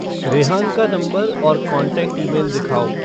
रेहान का नंबर और contact email दिखाओ